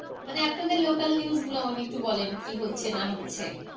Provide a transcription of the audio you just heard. মানে আপনাদের local news গুলো আমাকে একটু বলেন কি হচ্ছে না হচ্ছে।